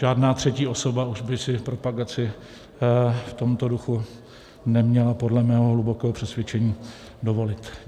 Žádná třetí osoba už by si propagaci v tomto duchu neměla podle mého hlubokého přesvědčení dovolit.